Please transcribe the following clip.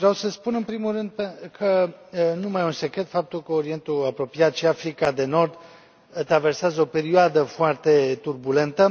Vreau să spun în primul rând că nu mai e un secret faptul că Orientul Apropiat și Africa de Nord traversează o perioadă foarte turbulentă.